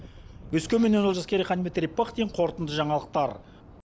өскемен олжас керейхан дмитрий пыхтин қорытынды жаңалықтар